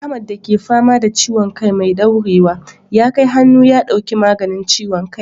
Ahmad da ke fama da ciwon kai mai daurewa, ya kai hannu ya dauki maganin ciwon kai.